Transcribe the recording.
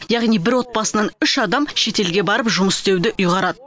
яғни бір отбасынан үш адам шетелге барып жұмыс істеуді ұйғарады